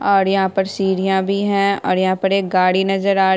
और यहाँ पर सीढ़िया भी हैं और यहाँ पर एक गाड़ी नजर आ --